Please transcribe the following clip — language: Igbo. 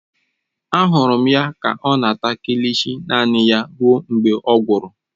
Ahụrụ m ya ka ọ na-ata kilishi naanị ya ruo mgbe ọ gwụrụ.